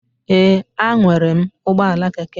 Ee, a enwere m ụgbọala keke.